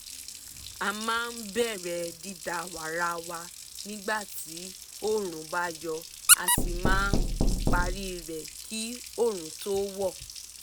a máa bẹ̀rẹ̀ dídá wàrà wa nígbà tí oòrùn bá yọ a sì máa parí rẹ̀ kí oòrùn tó wọ̀